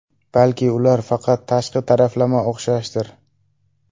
Balki ular faqat tashqi taraflama o‘xshashdir?